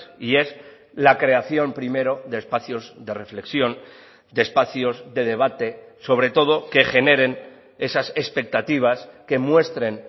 y es la creación primero de espacios de reflexión de espacios de debate sobre todo que generen esas expectativas que muestren